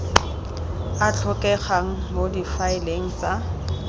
a tlhokegang mo difaeleng tsa